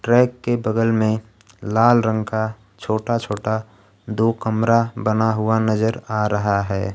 Track के बगल में लाल रंग का छोटा छोटा दो कमरा बना हुआ नजर आ रहा है।